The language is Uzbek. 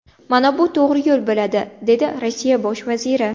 Mana bu to‘g‘ri yo‘l bo‘ladi”, dedi Rossiya bosh vaziri.